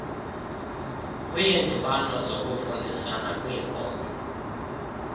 kwiindibano zokufundisana kwiinkomfa